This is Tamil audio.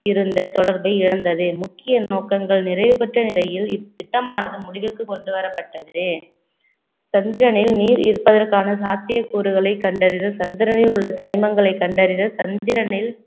இருந்த தொடர்பு இழந்தது. முக்கிய நோக்கங்கள், நிறைவு பெற்ற நிலையில் இத்திட்டமானது முடிவுக்கு கொண்டுவரப்பட்டது சந்திரனில் நீர் இருப்பதற்கான சாத்தியக்கூறுகளை கண்டறிந்து சந்திரனில் உள்ள தனிமங்களை கண்டறிய சந்திரனில்